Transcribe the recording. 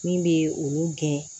Min bɛ olu gɛn